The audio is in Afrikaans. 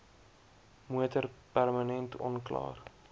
motor permanent onklaar